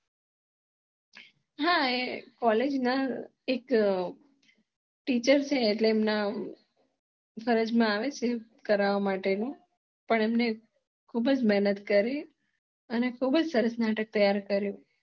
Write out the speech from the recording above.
હા એ college ના એક teacher એટલે એમના ફરજ મ આવેજ ને કરવા માટે નું પણ એમને ખુજ મહેનત કરી અને ખુજ સરસ નાટક તૈયાર કર્યું